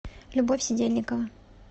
любовь сидельникова